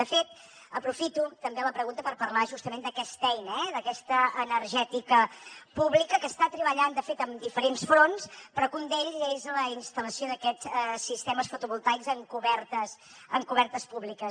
de fet aprofito també la pregunta per parlar justament d’aquesta eina d’aquesta energètica pública que està treballant de fet amb diferents fronts però que un d’ells és la instal·lació d’aquests sistemes fotovoltaics en cobertes públiques